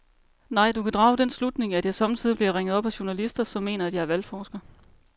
Nej, du kan drage den slutning, at jeg sommetider bliver ringet op af journalister, som mener, at jeg er valgforsker.